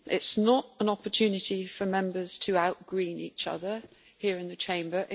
This is not an opportunity for Members to out-green each other here in the Chamber